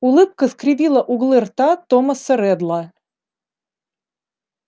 улыбка скривила углы рта томаса реддла